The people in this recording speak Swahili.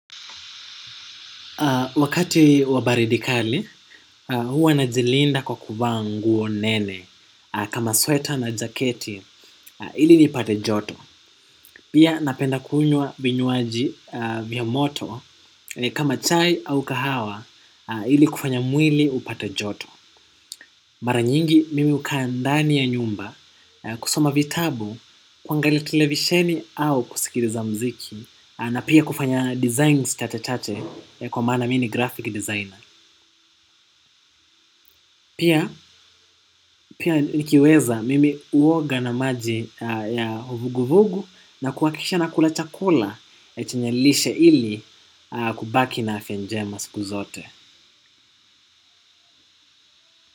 Wakati wa baridi kali huwa najilinda kwa kuvaa nguo nene kama sweta na jaketi ili nipate joto. Pia napenda kunywa vinywaji vya moto kama chai au kahawa ili kufanya mwili upate joto. Mara nyingi mimi hukaa ndani ya nyumba kusoma vitabu. Kuangalia televisheni au kusikiliza muziki. Na pia kufanya designs chache chache kwa maana mi ni graphic designer. Pia, pia nikiweza mimi huoga na maji ya uvuguvugu na kuhakikisha nakula chakula, chenyelishe ili kubaki na afya njema siku zote.